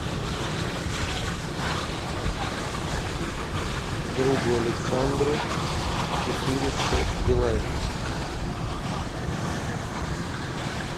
другу александру четыреста билайн